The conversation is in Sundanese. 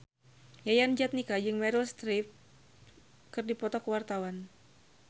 Yayan Jatnika jeung Meryl Streep keur dipoto ku wartawan